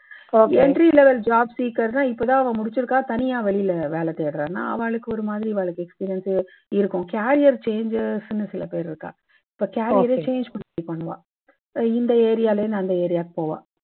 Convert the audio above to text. entry level job seeker இப்போ தான் அவா முடிச்சுருக்கா. தனியா வெளில வேலை தேடரான்னா ஆவாளுக்கு ஒரு மாதிரி இவாளுக்கு experience சே இருக்கும். career changes னு சில பேர் இருக்கா. இப்போ career ரே change பண்ணி பண்ணுவா. இந்த area லேந்து அந்த area வுக்கு போவா.